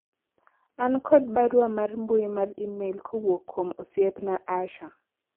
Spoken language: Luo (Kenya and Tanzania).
an kod barua mar mbui mar email kowuok kuom osiepna Asha